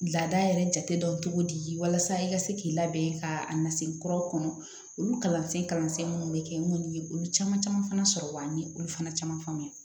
Laada yɛrɛ jate dɔ togo di walasa i ka se k'i labɛn ka a na se kura kɔnɔ olu kalansen kalansen minnu bɛ kɛ n kɔni ye olu caman caman fana sɔrɔ wa ni olu fana caman fana